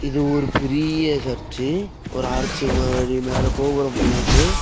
இது ஒரு பெரீய சர்ச்சு ஒரு ஆர்ச்சு மாதிரி மேல கோபுரம் போகுது.